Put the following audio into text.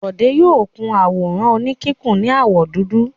Bọ̀dé yóò kun àwòrán oníkíkùn ní àwọ̀ dúdú.